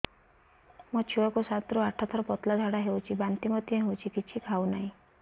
ମୋ ଛୁଆ କୁ ସାତ ରୁ ଆଠ ଥର ପତଳା ଝାଡା ହେଉଛି ବାନ୍ତି ମଧ୍ୟ୍ୟ ହେଉଛି କିଛି ଖାଉ ନାହିଁ